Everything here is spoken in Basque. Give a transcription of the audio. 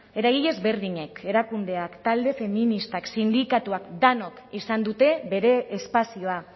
eragile ezberdinek erakundeak talde feministak sindikatuak denok izan dute bere espazioa